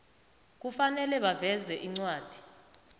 kufanele baveze incwadi